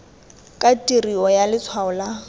ka tirio ya letshwalo la